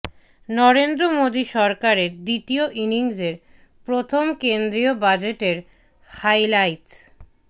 নরেন্দ্র মোদী সরকারের দ্বিতীয় ইনিংসের প্রথম কেন্দ্রীয় বাজেটের হাইলাইটস